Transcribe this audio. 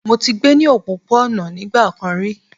Mọ tí gbé ní òpópó-ònà ní nigbákán rí